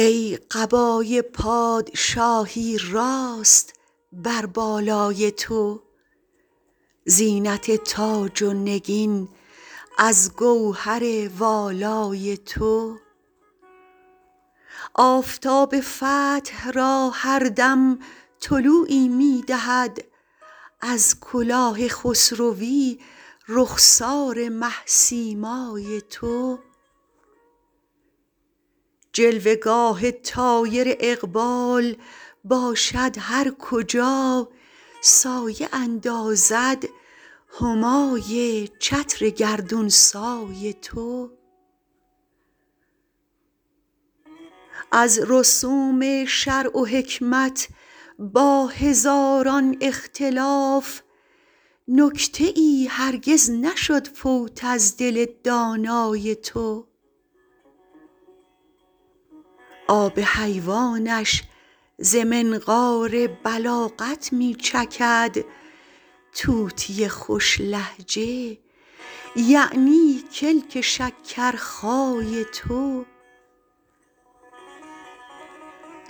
ای قبای پادشاهی راست بر بالای تو زینت تاج و نگین از گوهر والای تو آفتاب فتح را هر دم طلوعی می دهد از کلاه خسروی رخسار مه سیمای تو جلوه گاه طایر اقبال باشد هر کجا سایه اندازد همای چتر گردون سای تو از رسوم شرع و حکمت با هزاران اختلاف نکته ای هرگز نشد فوت از دل دانای تو آب حیوانش ز منقار بلاغت می چکد طوطی خوش لهجه یعنی کلک شکرخای تو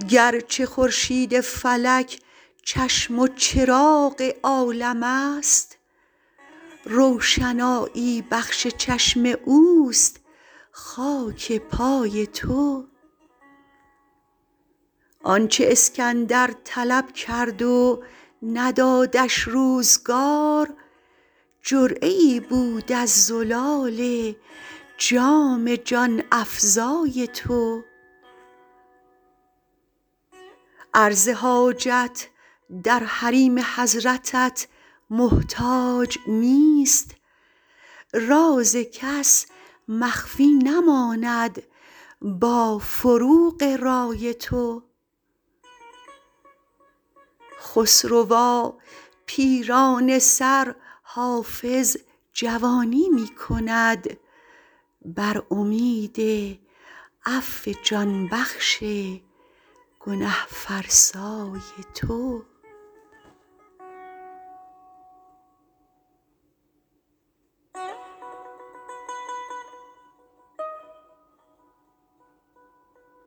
گرچه خورشید فلک چشم و چراغ عالم است روشنایی بخش چشم اوست خاک پای تو آن چه اسکندر طلب کرد و ندادش روزگار جرعه ای بود از زلال جام جان افزای تو عرض حاجت در حریم حضرتت محتاج نیست راز کس مخفی نماند با فروغ رای تو خسروا پیرانه سر حافظ جوانی می کند بر امید عفو جان بخش گنه فرسای تو